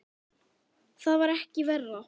Það var ekki verra.